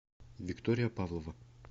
виктория павлова